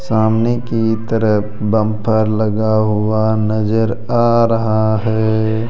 सामने की तरफ बंफर लगा हुआ नजर आ रहा है।